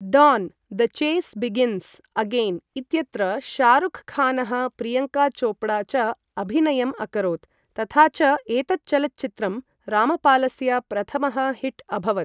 Don the chase begins again इत्यत्र शाहरुख खानः प्रियंका चोपड़ा च अभिनयम् अकरोत् तथा च एतत् चलच्चित्रं रामपालस्य प्रथमः हिट् अभवत् ।